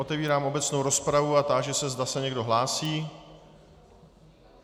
Otevírám obecnou rozpravu a táži se, zda se někdo hlásí.